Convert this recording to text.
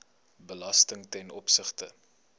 belasting ten opsigte